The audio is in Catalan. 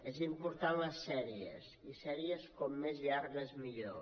són importants les sèries i sèries com més llargues millor